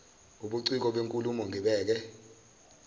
ubuciko benkulumo ngibheke